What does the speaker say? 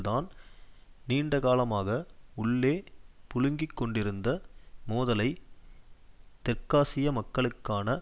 தான் நீண்டகாலமாக உள்ளே புழுங்கிக் கொண்டிருந்த மோதலை தெற்காசிய மக்களுக்கான